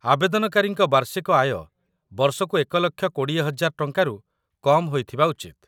ଆବେଦନକାରୀଙ୍କ ବାର୍ଷିକ ଆୟ ବର୍ଷକୁ ୧,୨୦,୦୦୦ ଟଙ୍କାରୁ କମ୍‌ ହୋଇଥିବା ଉଚିତ୍ |